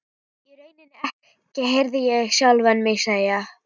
Nei, í rauninni ekki, heyrði ég sjálfan mig segja.